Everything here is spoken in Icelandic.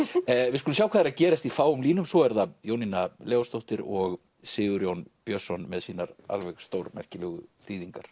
við skulum sjá hvað er að gerast í fáum línum svo er það Jónína Leósdóttir og Sigurjón Björnsson með sínar alveg stórmerkilegu þýðingar